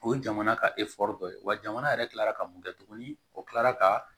O ye jamana ka dɔ ye wa jamana yɛrɛ kilara ka mun kɛ tuguni o kilara ka